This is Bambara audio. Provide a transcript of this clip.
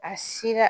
A si la